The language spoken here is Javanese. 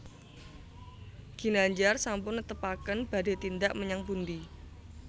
Ginandjar sampun netepaken badhe tindak menyang pundi